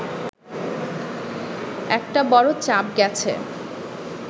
একটা বড় চাপ গেছে